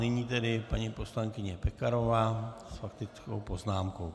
Nyní tedy paní poslankyně Pekarová s faktickou poznámkou.